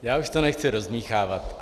Já už to nechci rozdmýchávat.